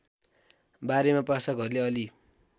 बारेमा प्रशासकहरूले अलि